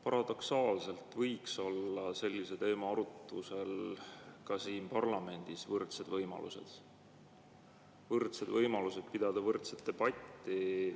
Paradoksaalselt sellise teema arutlusel võiks olla ka siin parlamendis võrdsed võimalused, võrdsed võimalused pidada võrdset debatti.